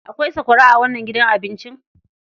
Akwai sakwara a wannan gidan cin abinci?